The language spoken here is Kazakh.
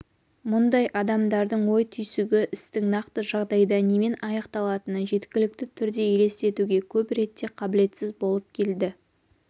мұндай адамдардың ой-түйсігі істің нақты жағдайда немен аяқталатынын жеткілікті түрде елестетуге көп ретте қабілетсіз болып келді